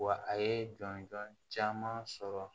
Wa a ye jɔnjɔn caman sɔrɔ